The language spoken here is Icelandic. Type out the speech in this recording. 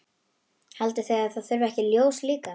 Haldið þið að það þurfi ekki ljós líka?